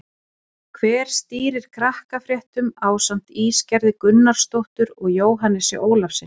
Hver stýrir Krakkafréttum ásamt Ísgerði Gunnarsdóttur og Jóhannesi Ólafssyni?